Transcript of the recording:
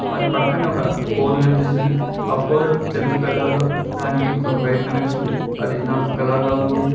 వాటి పక్కన్నే ఒక ఫోల్ కనిపిస్తుంది ఆ పోలు తెలుపు కలర్లో దానికి ఒక వైర్ కనెక్షన్ అది నలుఫు కలర్ లో ఉంది.